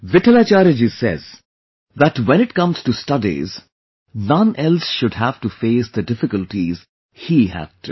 Vitthalacharya ji says that when it comes to studies, none else should have to face the difficulties he had to